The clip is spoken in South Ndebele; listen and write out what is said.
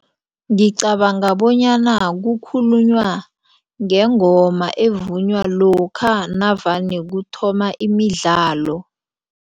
Ngicabanga bonyana kukhulunywa ngengoma evunywa lokha navane kuthoma imidlalo.